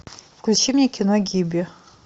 включи мне кино гибби